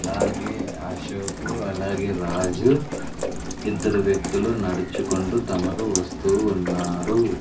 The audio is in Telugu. అలాగే అశోకు అలాగే రాజు ఇద్దరు వ్యక్తులు నడుచుకుంటూ తమరు వస్తూ ఉన్నారు.